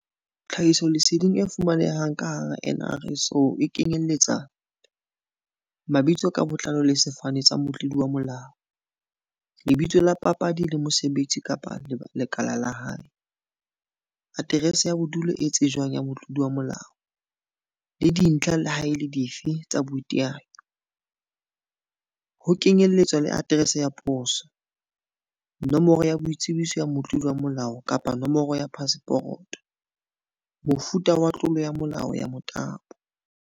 Tlhahisoleseding e fumanehang ka hara NRSO e kenyeletsa, mabitso ka botlalo le sefane tsa motlodi wa molao, lebitso la papadi le mosebetsi kapa lekala la hae, aterese ya bodulo e tsejwang ya Motlodi wa molao, le dintlha leha e le dife tsa boiteanyo, ho kenyeletswa le aterese ya poso, nomoro ya boitsebiso ya motlodi wa molao kapa nomoro ya paseporoto, mofuta wa tlolo ya molao ya motabo.